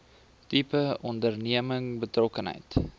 tipe onderneming betrokkenheid